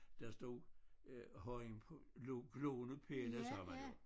Der stod øh højen på lo gloende pinde sagde man jo